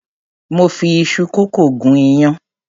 Mo fi iṣu kókò gún iyán.